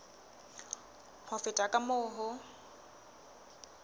ho feta ka moo ho